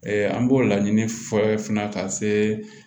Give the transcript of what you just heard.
an b'o laɲini fɔ fana ka se